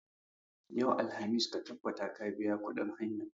Yau, alhamis, ka tabbata ka biya kuɗin hayan!